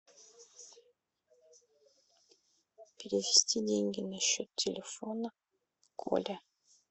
перевести деньги на счет телефона коля